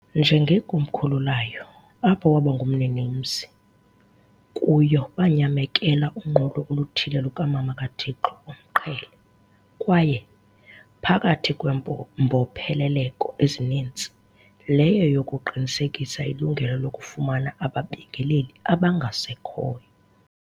njengekomkhulu layo, apho waba ngumninimzi- kuyo banyamekela unqulo oluthile lukaMama kaThixo oMqhele, kwaye, phakathi kweembopheleleko ezinintsi, leyo yokuqinisekisa ilungelo lokufumana aBabingeleli abangasekhoyo.